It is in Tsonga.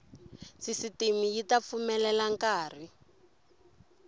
sisitimi yi ta pfumelela nkari